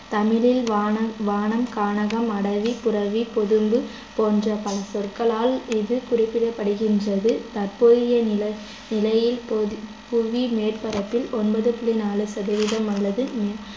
தமிழில் வானம், வனம், கானகம், அடவி, புறவு, பொதும்பு போன்ற பல சொற்களால் இது குறிக்கப்படுகின்றது தற்போதைய நில~ நிலையில் பொதி~ புவி மேற்பரப்பில் ஒன்பது புள்ளி நாலு சதவீதம் அல்லது